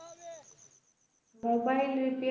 mobile repairing